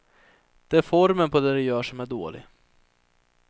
Det är formen på det de gör som är dålig.